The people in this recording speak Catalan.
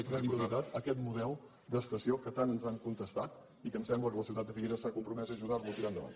i credibilitat a aquest model d’estació que tant ens han contestat i que em sembla que la ciutat de figueres s’ha compromès a ajudarlo a tirar endavant